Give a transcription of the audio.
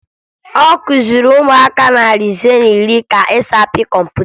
Ọ kụziri ụmụaka narị ise na iri ka e si apị kọmputa